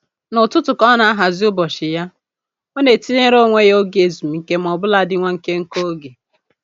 N'ụtụtụ ka ọ na-ahazi ụbọchị ya, ọ na-etinyere onwe ya oge ezumike maọbụladị nwa nkenke oge